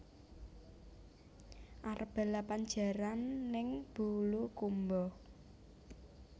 Arep balapan jaran ning Bulukumba